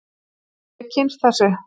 Ég hef kynnst þessu.